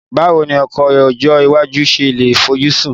Báwo ni ọkọ̀ ọjọ́ iwájú ṣe lè fojúsùn